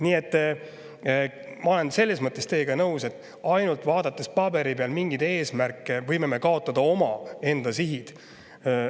Nii et ma olen selles mõttes teiega nõus, et ainult paberi peal mingeid eesmärke vaadates võime me kaotada omaenda sihi.